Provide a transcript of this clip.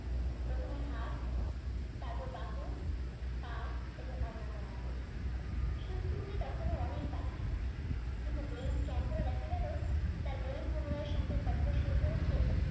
প্রথমে হাত তারপর বাহু, পা এবং অন্যান্য অঙ্গ। সুস্থ হতে তখনও অনেক বাকি। কিন্তু brain scan করে দেখা গেলো তার brain পুনরায় সংকেত পাঠাতে শুরু করেছে